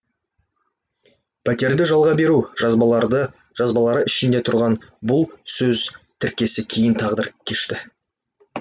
пәтерді жалға беру жазбалары ішінде тұрған бұл сөз тіркесі кейін тағдыр кешті